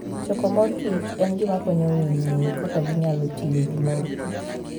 Choko mor kich en gima konyo winy ng'eyo kaka ginyalo tiyo gi mor kich.